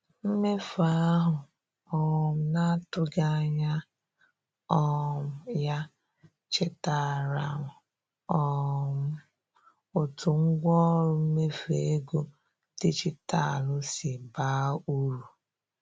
Mmefu ahụ um na-atụghị anya um ya chetaara um m otu ngwaọrụ mmefu ego dijitalụ si baa uru.